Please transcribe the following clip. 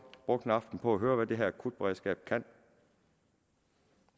vi brugt en aften på at høre hvad det her akutberedskab kan